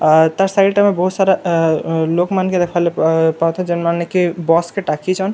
ଆ ତାର୍‌ ସାଇଡ ରେ ଆମେ ବହୁତ୍ ସାରା ଅ ଲୋକ ମାନକେ ଦେଖିବା ଲାଗି ପାଉଥିବା ଯେନ୍‌ ମାନେ କି ବସ୍‌ କେ ଟାକିଛନ୍ ଆର୍‌--